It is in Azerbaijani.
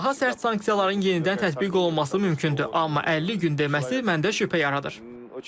Daha sərt sanksiyaların yenidən tətbiq olunması mümkündür, amma 50 gün deməsi məndə şübhə yaradır.